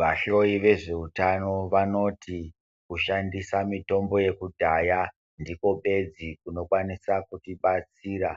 Vahloyi vezveutano vanoti kushandisa mitombo yekudhaya ndikwo bedzi kunokwanisa kutibatsira